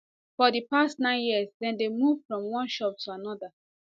for di past nine years dem dey move from one shop to anoda